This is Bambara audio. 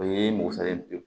O ye mosalen